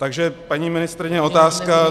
Takže paní ministryně, otázka.